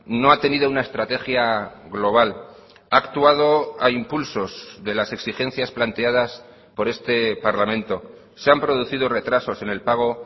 no ha tenido una estrategia global ha actuado a impulsos de las exigencias planteadas por este parlamento se han producido retrasos en el pago